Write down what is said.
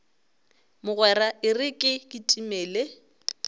mogwera e re ke kitimele